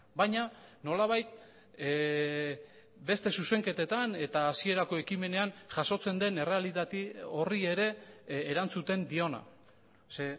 baina nolabait beste zuzenketetan eta hasierako ekimenean jasotzen den errealitate horri ere erantzuten diona ze